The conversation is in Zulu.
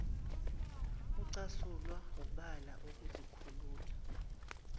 ucasulwa wubala ukuzikhulula